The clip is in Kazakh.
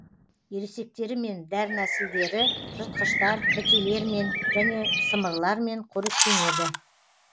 ересектері мен дернәсілдері жыртқыштар бітелермен және сымырлармен қоректенеді